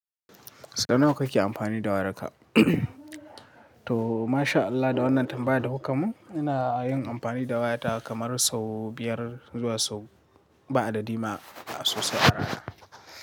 Sau nawa kake amfani da wayarka? To masha Allah, da wannan tambaya da kuka mun ina yin amfani da wayata kamar sau biyar zuwa sau ba adadi ma a sosai a rana.